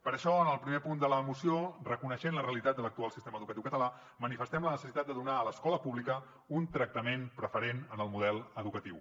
per això en el primer punt de la moció reconeixent la realitat de l’actual sistema educatiu català manifestem la necessitat de donar a l’escola pública un tractament preferent en el model educatiu